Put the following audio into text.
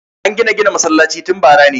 An gina gina masallacin tun bara ne